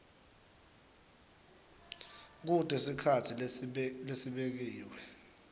kute sikhatsi lesibekiwe